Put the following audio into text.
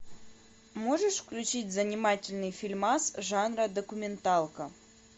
можешь включить занимательный фильмас жанра документалка